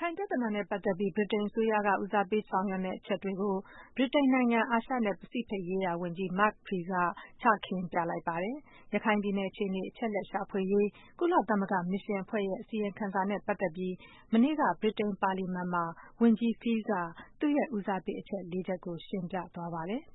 ခိုင်ပြဿနာနဲ့ပတ်သက်ပြီး ဗြိတိန်အစိုးရက ဦးစားပေးဆောင်ရွက်မယ့် အချက်တွေကို ဗြိတိန်နိုင်ငံ အာရှနဲ့ ပစိဖိတ်ရေးရာဝန်ကြီး Mark Field က ချခင်းပြလိုက်ပါတယ်။ ရခိုင်ပြည်နယ်အခြေအနေ အချက်အလက်ရှာဖွေရေး ကုလသမဂ္ဂ မစ်ရှင်အဖွဲ့ရဲ့ အစီရင်ခံစာနဲ့ပတ်သက်ပြီး မနေ့က ဗြိတိန်ပါလီမန်မှာ ဝန်ကြီး Field က သူတို့ရဲ့ ဦးစားပေး အချက် လေးချက်ကို ရှင်းပြသွားပါတယ်။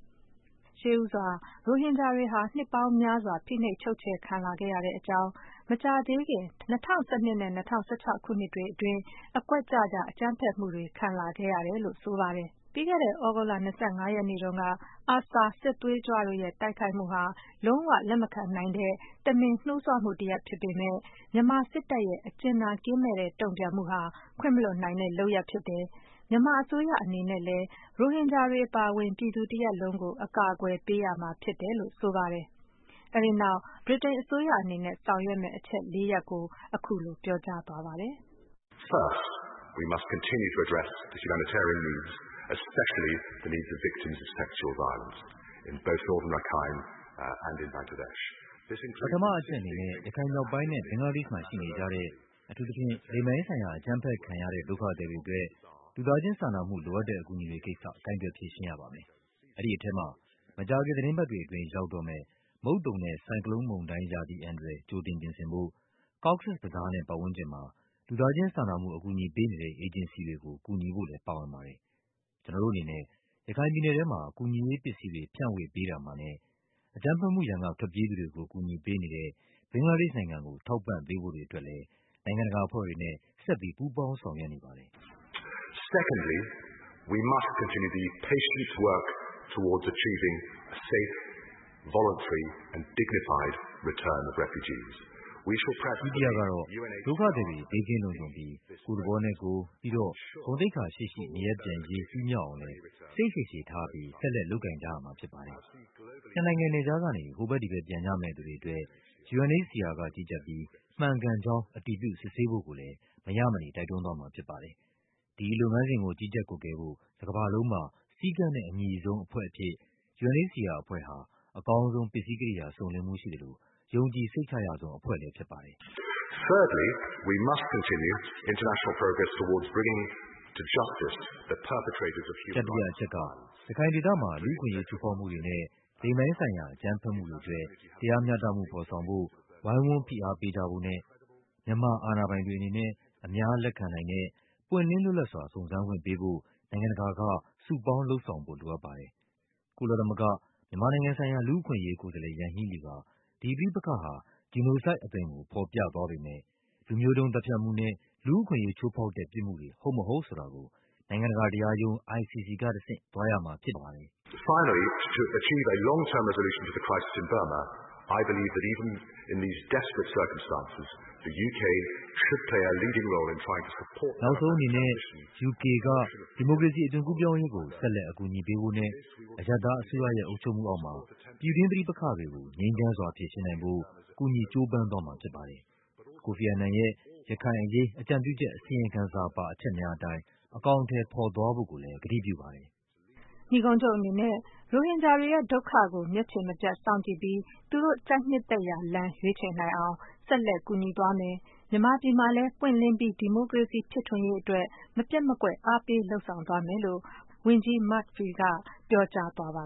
အပြည့်အစုံကို မခွာညို တင်ပြထားပါတယ်။ ရှေးဦးစွာ ရိုဟင်ဂျာတွေဟာ နှစ်ပေါင်းများစွာ ဖိနှိပ်ချုပ်ခြယ်ခံလာခဲ့ရတဲ့အကြောင်း မကြာသေးခင် ၂၀၁၂ နဲ့ ၂၀၁၆ ခုနှစ်တွေအတွင်း အကွက် ကျကျ အကြမ်းဖက်မှုတွေ ခံလာခဲ့ရတယ်လို့ ဆိုပါတယ်။ ပြီးခဲ့တဲ့ သြဂုတ်လ ၂၅ ရက်တုန်းက ARSA စစ်သွေးကြွတို့ရဲ့ တိုက်ခိုက်မှုဟာ လုံးဝ လက်မခံနိုင်တဲ့ တမင် နှိုးဆွမှုတရပ်ဖြစ်ပေမယ့် မြန်မာစစ်တပ်ရဲ့ အကြင်နာကင်းမဲ့တဲ့ တုံ့ပြန်မှုဟာ ခွင့်မလွှတ်နိုင်တဲ့ လုပ်ရပ်ဖြစ်တယ်၊ မြန်မာ အစိုးရအနေနဲ့လည်း ရိုဟင်ဂျာတွေအပါအဝင် ပြည်သူတရပ်လုံးကို အကာအကွယ်ပေးရမှာဖြစ်တယ်လို့ ဆိုပါတယ်။ အဲဒီနောက် ဗြိတိန်အစိုးရ အနေနဲ့ ဆောင်ရွက်မယ့် အချက်လေးရပ်ကို အခုလို ပြောကြားသွားပါတယ်။ "ပထမအချက်အနေနဲ့ ရခိုင်မြောက်ပိုင်းနဲ့ ဘင်္ဂလားဒေ့ရှ်မှာရှိနေကြတဲ့ အထူးသဖြင့် လိင်ပိုင်းဆိုင်ရာအကြမ်းဖက်ခံရတဲ့ ဒုက္ခသည်တွေ အတွက် လူသားချင်း စာနာမှုလိုအပ်တဲ့အကူအညီတွေကိစ္စ ကိုင်တွယ်ဖြေရှင်းရပါမယ်။ အဲဒီထဲမှာ မကြာခင် သီတင်းပတ်တွေအတွင်း ရောက် တော့မယ့် မုတ်သုန်နဲ့ ဆိုင်ကလုန်းမုန်တိုင်း ရာသီအန္တရာယ် ကြိုတင်ပြင်ဆင်ဖို့၊ Cox’s Bazar နဲ့ ပတ်ဝန်းကျင်မှာ လူသားချင်းစာနာမှု ကူညီ ပေးနေတဲ့ အေဂျင်စီတွေကို ကူညီဖို့လည်း ပါဝင်ပါတယ်။ ကျနော်တို့အနေနဲ့ ရခိုင်ပြည်နယ်ထဲမှာ ကူညီရေးပစ္စည်းတွေဖြန့်ဝေပေးရာမှာနဲ့ အကြမ်းဖက်မှု ရန်ကထွက်ပြေးသူတွေကို ကူညီပေးနေတဲ့ ဘင်္ဂလားဒေ့ရှ်နိုင်ငံကိုလည်း ထောက်ပံ့ပေးဖို့တွေအတွက်လည်း နိုင်ငံတကာအဖွဲ့ တွေနဲ့ ဆက်လက် ပူးပေါင်းဆောင်ရွက်နေပါတယ်။ ဒုတိယကတော့ ဒုက္ခသည်တွေ ဘေးကင်းလုံခြုံပြီး ကိုယ့်သဘောနဲ့ကိုယ် ဂုဏ်သိက္ခာရှိရှိ နေရပ်ပြန်ရေး ပြီးမြောက်အောင်လည်း စိတ်ရှည်ရှည်ထားပြီး ဆက်လက်လုပ်ကိုင်ကြရမှာဖြစ်ပါတယ်။ နှစ်နိုင်ငံနယ်ခြားကနေ ဟိုဘက်ဒီဘက် ပြန်ကြမယ့်သူတွေအတွက် UNHCR က ကြီးကြပ်ပြီး မှန်ကန်ကြောင်း အတည်ပြုစစ်ဆေးဖို့ကိုလည်း မရမနေ တိုက်တွန်းသွားမှာဖြစ်ပါတယ်။ ဒီလုပ်ငန်းစဉ်ကို ကြီးကြပ်ကွပ်ကဲဖို့ တကမ္ဘာလုံးမှာ စည်းကမ်းနဲ့အညီဆုံး အဖွဲ့အဖြစ် UNHCR အဖွဲ့ဟာ အကောင်းဆုံး ပစ္စည်းကိရိယာစုံလင်မှုရှိသလို ယုံကြည်စိတ်ချရဆုံး အဖွဲ့လည်း ဖြစ်ပါတယ်။ တတိယအချက်က ရခိုင်ဒေသမှာ လူ့အခွင့်အရေး ချိုးဖောက်မှုတွေနဲ့ လိင်ပိုင်းဆိုင်ရာ အကြမ်းဖက်မှုတွေအတွက် တရားမျှတမှု ဖော်ဆောင်ဖို့ ဝိုင်းဝန်း ဖိအားပေးကြဖို့နဲ့ မြန်မာအာဏာပိုင်တွေအနေနဲ့ အများလက်ခံနိုင်တဲ့ ပွင့်လင်းလွတ်လပ်စွာ စုံစမ်းခွင့်ပေးဖို့ နိုင်ငံတကာက စုပေါင်းလုပ်ဆောင်ဖို့ လိုအပ်ပါတယ်၊၊ ကုလသမဂ္ဂ မြန်မာနိုင်ငံဆိုင်ရာ လူ့အခွင့်အရေး ကိုယ်စားလှယ် Yanghee Lee က ဒီပဋိပက္ခဟာ genocide အသွင်ကို ဖော်ပြသွား ပေမယ့် လူမျိုးတုန်း သတ်ဖြတ်မှုနဲ့လူ့အခွင့်အရေးချိုးဖောက်တဲ့ ပြစ်မှုတွေ ဟုတ်မဟုတ်ဆိုတာကို နိုင်ငံတကာ တရားရုံး ICC က တဆင့် သွားရမှာဖြစ်ပါတယ်။ နောက်ဆုံးအနေနဲ့ UK က ဒီမိုကရေစီအသွင်ကူးပြောင်းရေးကို ဆက်လက် အကူအညီပေးဖို့နဲ့ အရပ်သားအစိုးရရဲ့ အုပ်ချုပ်မှုအောက်မှာ ပြည်တွင်း ပဋိပက္ခတွေကိုငြိမ်းချမ်းစွာဖြေရှင်းနိုင်ဖို့ ကူညီ ကြိုးပမ်းသွားမှာဖြစ်ပါတယ်၊၊ ကိုဖီအာနန်ရဲ့ ရခိုင်အရေး အကြံပြုချက် အစီရင်ခံစာပါ အချက်များအတိုင်း အကောင်အထည်ဖော် သွားဖို့ကိုလည်း ကတိပြုပါတယ်၊၊" နိဂုံးချုပ်အနေနဲ့ ရိုဟင်ဂျာတွေရဲ့ဒုက္ခကို မျက်ခြေမပြတ်စောင့်ကြည့်ပြီး သူတို့ကြိုက်နှစ်သက်ရာလမ်း ရွေးချယ်နိုင်အောင် ဆက်လက် ကူညီသွားမယ်၊ မြန်မာပြည်မှာလည်း ပွင့်လင်းပြီး ဒီမိုကရေစီဖြစ်ထွန်းရေးအတွက် မပျက်မကွက် အားပေးလုပ်ဆောင်သွားမယ်လို့ ဝန်ကြီး Mark Field က ပြောကြားသွားပါ